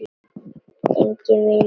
Ég er enginn vinur þinn!